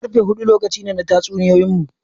Karfe hudu lokaci ne na tatsuniyoyinmu.